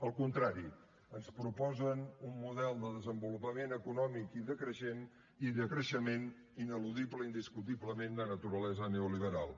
al contrari ens proposen un model de desenvolupament econòmic i de creixement ineludible indiscutiblement de naturalesa neoliberal